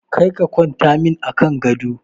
Kar ka kwanta min a kan gado!